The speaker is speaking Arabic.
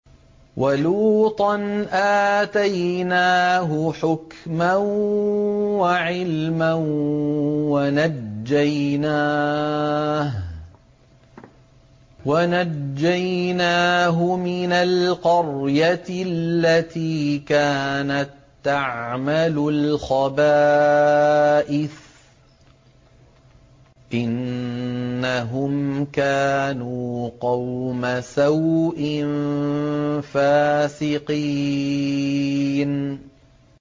وَلُوطًا آتَيْنَاهُ حُكْمًا وَعِلْمًا وَنَجَّيْنَاهُ مِنَ الْقَرْيَةِ الَّتِي كَانَت تَّعْمَلُ الْخَبَائِثَ ۗ إِنَّهُمْ كَانُوا قَوْمَ سَوْءٍ فَاسِقِينَ